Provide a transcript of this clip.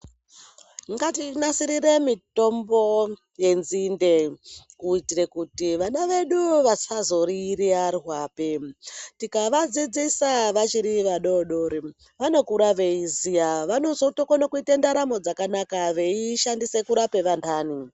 Ngatinasirire mitombo yenzinde kuitira kuti vana vedu vasazoriyiyara tikavadzidzisa vachiri vadodori vanokura veiziva vanozokona kuita ndaramo dzakanaka veishandisa kurapa vandani.